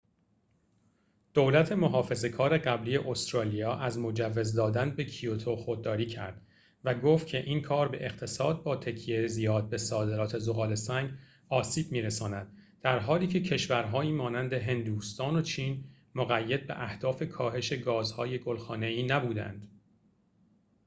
دولت محافظه کار قبلی استرالیا از مجوز دادن به کیوتو خودداری کرد و گفت که این کار به اقتصاد با تکیه زیاد به صادرات ذغال‌سنگ آسیب می‌رساند در حالیکه کشورهایی مانند هندوستان و چین مقید به اهداف کاهش گازهای گل‌خانه‌ای نبودند